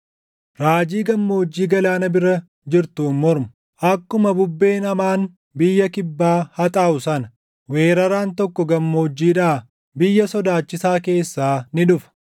Raajii Gammoojjii Galaana bira jirtuun mormu: Akkuma bubbeen hamaan biyya kibbaa haxaaʼu sana, weeraraan tokko gammoojjiidhaa, biyya sodaachisaa keessaa ni dhufa.